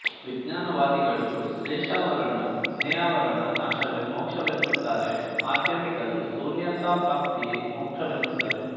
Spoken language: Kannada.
ವಿಜ್ಞಾನವಾದಿಗಳು ಕ್ಲೇಷಾವರಣ ಜ್ಞೇಯಾವರಣ ನಾಶವೇ ಮೋಕ್ಷ ವೆನ್ನುತ್ತಾರೆ ಮಾದ್ಯಮಿಕರು ಶೂನ್ಯತಾ ಪ್ರಾಪ್ತಿಯೇ ಮೋಕ್ಷವೆನ್ನುತ್ತಾರೆ